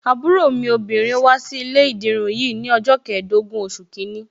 Àbúrò mi obìnrin wá sí ilé ìdirun yìí ni ọjọ́ keedogun oṣù kìíní.